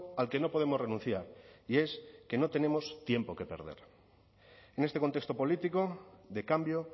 al que no podemos renunciar y es que no tenemos tiempo que perder en este contexto político de cambio